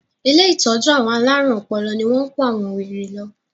Ilé ìtọ́jú àwọn alárùn ọpọlọ ní wọ́n kó àwọn wèrè lọ.